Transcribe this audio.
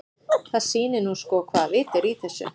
Það sýnir nú sko hvaða vit er í þessu.